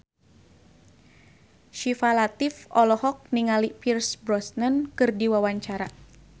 Syifa Latief olohok ningali Pierce Brosnan keur diwawancara